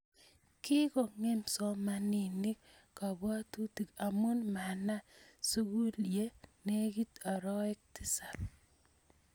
Kikongem somanik kabwatutik amu mana sukul ye negit oroek tisap